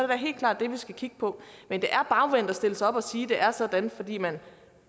da helt klart det vi skal kigge på men det er bagvendt at stille sig op og sige at det er sådan fordi man